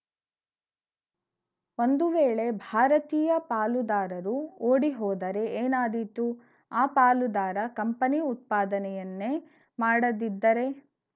ಒಂದು ವೇಳೆ ಭಾರತೀಯ ಪಾಲುದಾರರು ಓಡಿಹೋದರೆ ಏನಾದೀತು ಆ ಪಾಲುದಾರ ಕಂಪನಿ ಉತ್ಪಾದನೆಯನ್ನೇ ಮಾಡದಿದ್ದರೆ